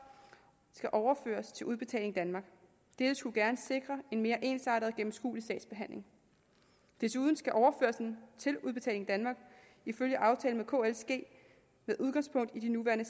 skal overføres til udbetaling danmark dette skulle gerne sikre en mere ensartet og gennemskuelig sagsbehandling desuden skal overførelsen til udbetaling danmark ifølge aftalen med kl ske med udgangspunkt i de nuværende